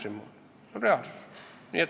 See on reaalsus.